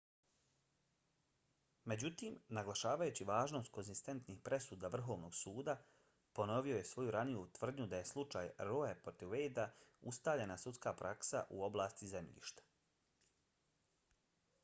međutim naglašavajući važnost konzistentnih presuda vrhovnog suda ,ponovio je svoju raniju tvrdnju da je slučaj roe protiv wade-a ustaljena sudska praksa u oblasti zemljišta .